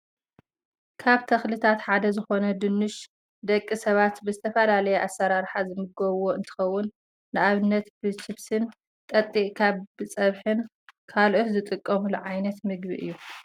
ካብ ተክልታት ሓደ ዝኮነ ድንሽ ደቂ ሰባት ብዝተፈላለየ ኣሰራርሓ ዝምገብዎ እንትከውን፣ ንኣብነት ብችብሲን ጠጢቅካ፣ ብፀብሕን ካልኦትን ዝጥቀሙሉ ዓይነት ምግቢ እዩ።